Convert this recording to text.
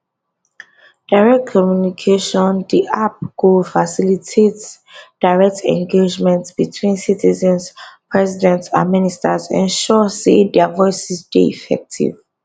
direct communicationdi app go facilitates direct engagement between citizens president and ministers ensure say dia voices dey effective